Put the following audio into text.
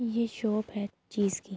یہ شاپ ہے ایک چیز کی--